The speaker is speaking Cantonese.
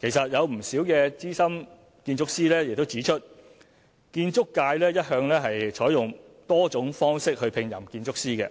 其實有不少資深建築師已指出，建築界一向採用多種方式聘任建築師，